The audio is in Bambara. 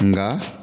Nka